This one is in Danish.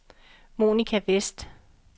Monica Westh